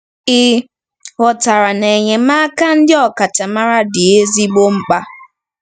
Ị ghọtara na enyemaka ndị ọkachamara dị ezigbo mkpa.